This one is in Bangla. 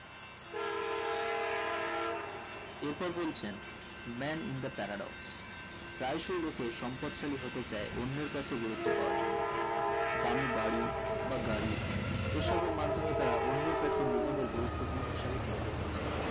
এর পর বলছেন man in the paradox প্রায় সো রোখে সম্পদ শালী হতে চাই অন্যের কাছে গুরুত্ব পাওয়ার জন্য দামি বাড়ি বা গাড়ি এই সবের মাধ্যমে তারা অন্যের কাছে নিজেদের গুরুত্ব পূর্ণ হিসাবে তুলে ধরতে চায়